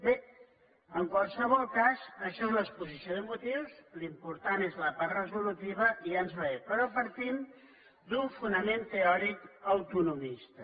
bé en qualsevol cas això és l’exposició de motius l’important és la part resolutiva i ja ens va bé però partim d’un fonament teòric autonomista